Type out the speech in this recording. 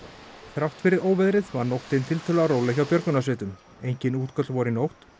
þrátt fyrir óveðrið var nóttin tiltölulega róleg hjá björgunarsveitum engin útköll voru í nótt